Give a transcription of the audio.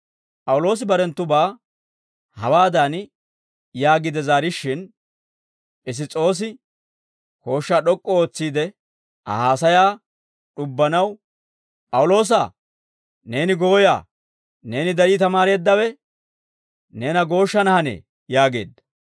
P'awuloosi barenttubaa hawaadan yaagiide zaarishshin, Piss's'oosi kooshshaa d'ok'k'u ootsiide Aa haasayaa d'ubbanaw, «P'awuloosaa, neeni gooyaa; neeni darii tamaareeddawe neena gooshshana hanee» yaageedda.